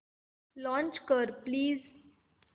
launch कर please